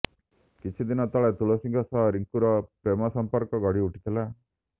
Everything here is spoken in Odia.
କିଛି ଦିନ ତଳେ ତୁଳସୀଙ୍କ ସହ ରିଙ୍କୁର ପ୍ରେମ ସମ୍ପର୍କ ଗଢ଼ିଉଠିଥିଲା